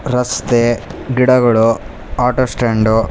ರಸ್ತೆ ಗಿಡಗಳು auto stand --